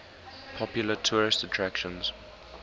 popular tourist attractions